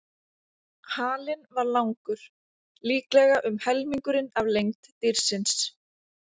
Halinn var langur, líklega um helmingurinn af lengd dýrsins.